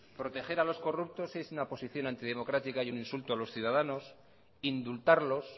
proteger a los corruptos es una posición antidemocrática y un insulto a los ciudadanos indultarlos